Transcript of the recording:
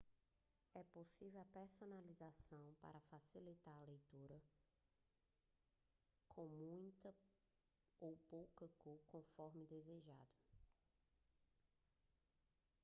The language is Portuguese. é possível a personalização para facilitar a leitura com muita ou pouca cor conforme desejado